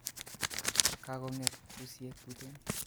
Koko'nget busiek tuten